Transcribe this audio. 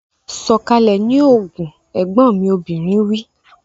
Sọ̀kalẹ̀ ní Ogun! Ẹ̀gbọ́n mi obìnrin wí.